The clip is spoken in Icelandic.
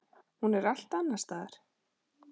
Hún er allt annars staðar.